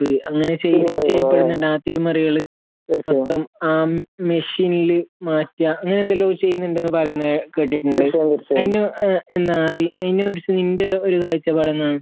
അങ്ങനെ ചെയ്യപ്പെടുന്നുണ്ട് തിരിമറികള് മൊത്തം ആ മെഷീനില് മാറ്റാ അങ്ങനെ എന്തല്ലോ ചെയ്യുന്നുണ്ട് എന്ന് പറയുന്നെ കേട്ടിട്ടുണ്ട് അതിനു എന്നാ അതിനെ കുറിച്ച് നിന്റെ ഒരു കാഴ്ചപ്പാട് എന്താണ്